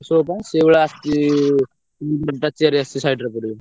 Show ପାଇଁ ସେଇଭଳିଆ ଆସିଛି side ରେ ପଡିବ।